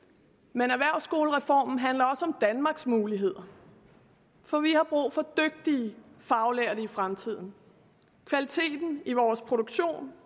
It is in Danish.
men erhvervsskolereformen handler om danmarks muligheder for vi har brug for dygtige faglærte i fremtiden kvaliteten i vores produktion